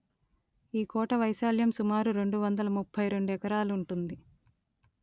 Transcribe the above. ఈ కోట వైశాల్యం సుమారు రెండు వందల ముప్ఫై రెండు ఎకరాలుంటుంది